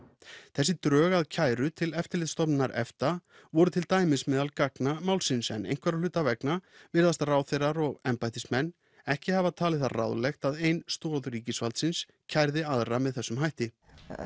þessi drög að kæru til Eftirlitsstofnunar EFTA voru til dæmis meðal gagna málsins en einhverra hluta vegna virðast ráðherrar og embættismenn ekki hafa talið það ráðlegt að ein stoð ríkisvaldsins kærði aðra með þessum hætti